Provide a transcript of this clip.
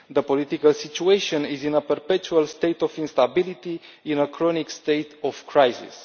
The political situation is in a perpetual state of instability, a chronic state of crisis.